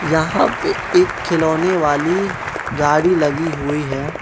यहां पे एक खिलौने वाली गाड़ी लगी हुई है।